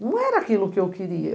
Não era aquilo que eu queria.